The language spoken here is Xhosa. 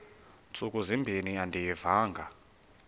ntsuku zimbin andiyivanga